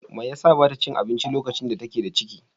Me yasa ba ta cin abinci lokacin da take da ciki?